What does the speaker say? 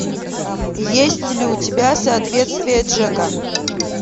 есть ли у тебя соответствие джека